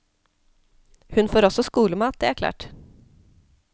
Hun får også skolemat, det er klart.